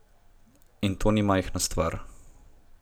In to ni majhna stvar.